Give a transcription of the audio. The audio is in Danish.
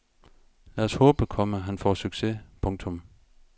Lad os håbe, komma han får succes. punktum